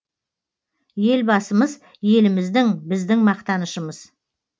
елбасымыз еліміздің біздің мақтанышымыз